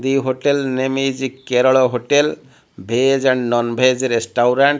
the hotel name is kerala hotel veg and non-veg restaurant.